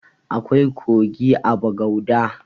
Akwai kogi a bagauda